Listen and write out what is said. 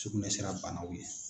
Sugunɛsira banaw ye.